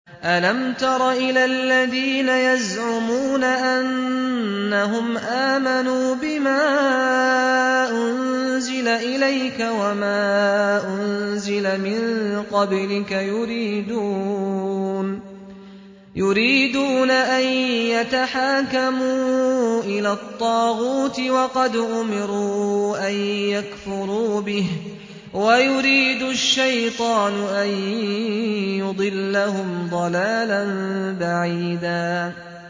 أَلَمْ تَرَ إِلَى الَّذِينَ يَزْعُمُونَ أَنَّهُمْ آمَنُوا بِمَا أُنزِلَ إِلَيْكَ وَمَا أُنزِلَ مِن قَبْلِكَ يُرِيدُونَ أَن يَتَحَاكَمُوا إِلَى الطَّاغُوتِ وَقَدْ أُمِرُوا أَن يَكْفُرُوا بِهِ وَيُرِيدُ الشَّيْطَانُ أَن يُضِلَّهُمْ ضَلَالًا بَعِيدًا